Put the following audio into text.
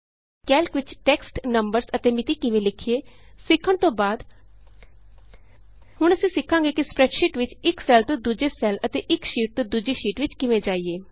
Calc ਵਿਚ text numbers ਅਤੇ ਮਿਤੀ ਕਿਵੇਂ ਲਿਖੀਏਸਿੱਖਣ ਤੋਂ ਬਾਅਦ ਹੁਣ ਅਸੀਂ ਸਿੱਖਾਂਗੇ ਕਿ ਸਪਰੈੱਡਸ਼ੀਟ ਵਿਚ ਇਕ ਸੈੱਲ ਤੋਂ ਦੂਜੇ ਸੈੱਲ ਅਤੇ ਇਕ ਸ਼ੀਟ ਤੋਂ ਦੂਜੀ ਸ਼ੀਟ ਵਿਚ ਕਿਵੇਂ ਜਾਈਏ